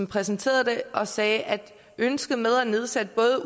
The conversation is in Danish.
præsenterede dem og sagde at ønsket om at nedsætte